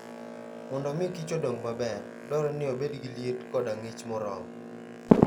Mondo omi kich odong maber, dwarore ni obed gi liet koda ng'ich moromo.